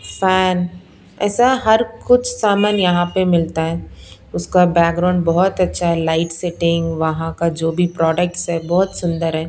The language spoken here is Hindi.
फैन ऐसा हर कुछ सामान यहां पे मिलता है उसका बैकग्राउंड बहुत अच्छा है लाइट सेटिंग वहां का जो भी प्रोडक्ट्स है बहुत सुंदर है।